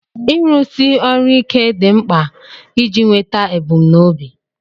Ịrụsi ọrụ ike dị mkpa iji nweta ebumnobi.